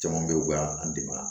Caman bɛ yen u ka an dɛmɛ